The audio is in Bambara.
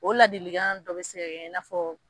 O ladilikan dɔ be se ka kɛ i n'afɔ